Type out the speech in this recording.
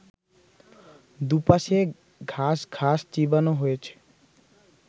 দুপাশে ঘাস ঘাস চিবানো হয়েছে